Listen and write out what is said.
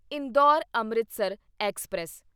Indore Amritsar express